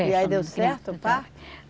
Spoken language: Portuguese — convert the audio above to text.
E aí deu certo o parto?